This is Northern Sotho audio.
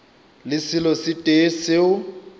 le selo se tee seo